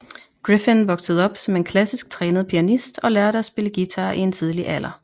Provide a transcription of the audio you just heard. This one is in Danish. Gryffin voksede op som en klassisk trænet pianist og lærte at spille guitar i en tidlig alder